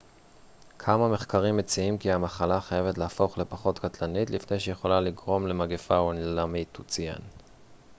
כמה מחקרים מציעים כי המחלה חייבת להפוך לפחות קטלנית לפני שהיא יכולה לגרום למגפה עולמית הוא ציין